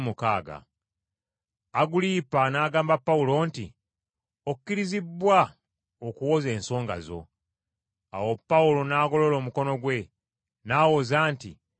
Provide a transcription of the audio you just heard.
Agulipa n’agamba Pawulo nti, “Okkirizibbwa okuwoza ensonga zo.” Awo Pawulo n’agolola omukono gwe, n’awoza nti,